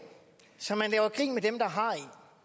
så man gør grin med dem der har